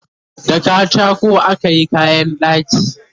da katako akayi kayan ɗaki